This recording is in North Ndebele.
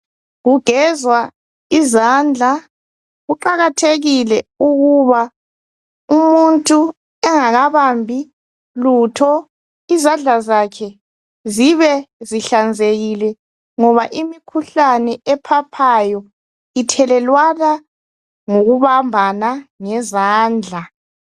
Kugezwa izandla. Kuqakathekile ukuba umuntu engakabambi lutho, izandla zakhe zibe zihlanzekile ngoba imikhuhlane ephaphayo ithelelwana ngokubambana ngezandla